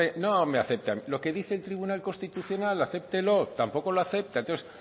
no me acepte lo que dice el tribunal constitucional acéptelo tampoco lo acepta entonces